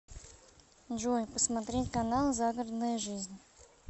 джой посмотреть канал загородная жизнь